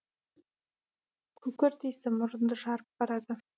күкірт исі мұрынды жарып барады